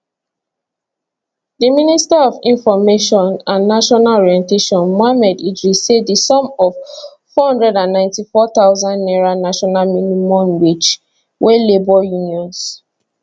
di minister for information and national orientation mohammed idris say di sum of 494000 naira national minimum wage wey labour unions